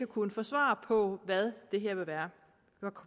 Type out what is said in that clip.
kunnet få svar på hvad konsekvenserne det her vil være